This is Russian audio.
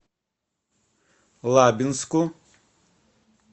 лабинску